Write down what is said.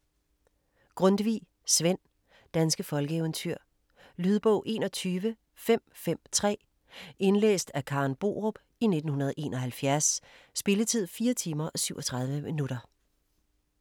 Grundtvig, Svend: Danske folkeeventyr Lydbog 21553 Indlæst af Karen Borup, 1971. Spilletid: 4 timer, 37 minutter.